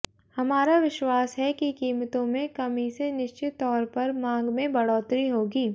हमारा विश्वास है कि कीमतों में कमी से निश्चित तौर पर मांग में बढ़ोतरी होगी